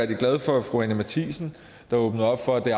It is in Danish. glad for at fru anni matthiesen åbnede op for at